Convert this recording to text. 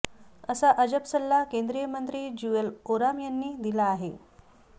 असा अजब सल्ला केंद्रीय मंत्री ज्युअल ओराम यांनी दिला आहे